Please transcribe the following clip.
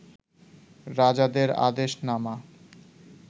রাজাদের আদেশনামা